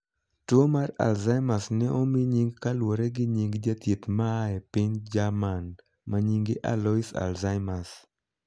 Tuo mar 'Alzheimer's' ne omii nying kaluwore gi nying jathieth ma aa piny Jerman ma nyinge Alois Alzheimers